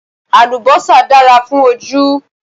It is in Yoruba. Àlùbọ́sà dára fún ojú